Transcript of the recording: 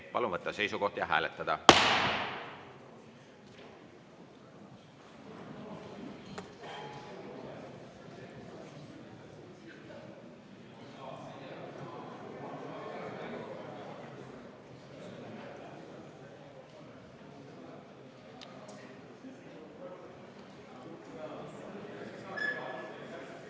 Palun võtta seisukoht ja hääletada!